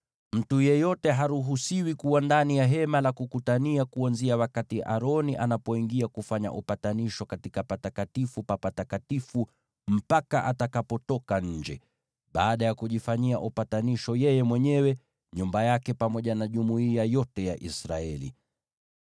Mtu yeyote haruhusiwi kuwa ndani ya Hema la Kukutania, kuanzia wakati Aroni anapoingia kufanya upatanisho katika Patakatifu pa Patakatifu, hadi atakapotoka nje, baada ya kujifanyia upatanisho yeye mwenyewe na nyumba yake, pamoja na jumuiya yote ya Israeli.